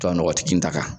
Tɔ nɔgɔ tɛ kini ta kan